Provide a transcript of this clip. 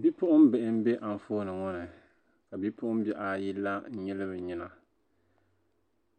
bipuɣimbihi m-be anfooni ŋɔ ni ka bipuɣimbihi ayi la n-nyili bɛ nyina